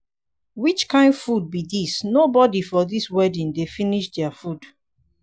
which kin food be dis nobody for dis wedding dey finish their food.